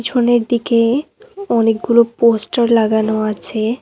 দিকে অনেকগুলো পোষ্টার লাগানো আছে।